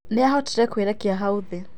Nĩahotire kwĩrekia hau thĩ.